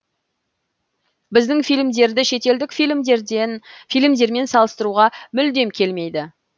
біздің фильмдерді шетелдік фильмдермен салыстыруға мүлдем келмей